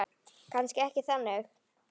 Kannski ekki þannig.